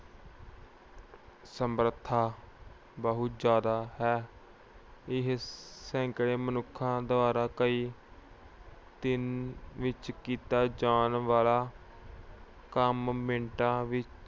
ਸਮਰਥਾ ਬਹੁਤ ਜਿਆਦਾ ਹੈ। ਇਹ ਸੈਂਕੜੇ ਮਨੁੱਖਾਂ ਦੁਆਰਾ ਕਈ ਦਿਨ ਵਿੱਚ ਕੀਤਾ ਜਾਣ ਵਾਲਾ ਕੰਮ ਮਿੰਟਾਂ ਵਿੱਚ